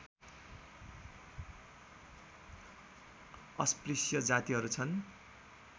अस्पृश्य जातिहरू छन्